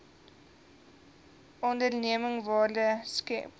onderneming waarde skep